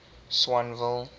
swanville